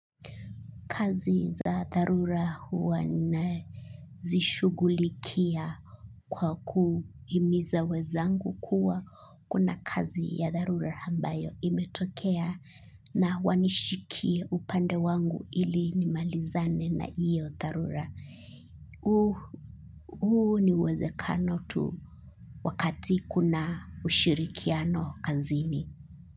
Kazi za darura huwa na zishugulikia kwa kuimiza wezangu kuwa kuna kazi ya darura hambayo imetokea na wanishikie upande wangu ili ni malizane na iyo darura. Huo ni wezekano tu wakati kuna ushirikiano kazini.